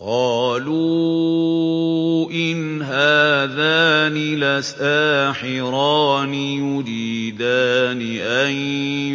قَالُوا إِنْ هَٰذَانِ لَسَاحِرَانِ يُرِيدَانِ أَن